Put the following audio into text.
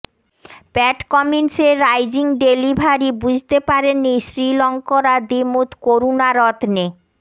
প্যাট কামিন্সের rising delivery বুঝতে পারেননি শ্রীলঙ্করা দিমুথ করুণারত্নে